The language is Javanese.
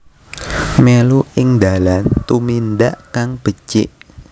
Mèlu ing dalan tumindak kang becik